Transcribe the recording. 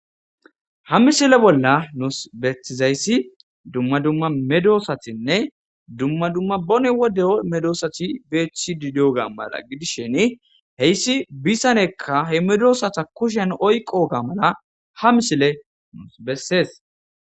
ha misile bolla nuus betizayssi dumma dumma medoosatinne dumma dumma bone wodde medosati beethi didoga mala gidisheni heyssi bisanekka he medosata kushen oyqo ga mala ha misile nuus bessees